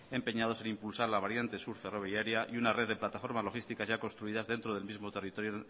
empeñados en impulsar la variante sur ferroviaria y una red de plataformas logísticas ya construidas dentro del mismo territorio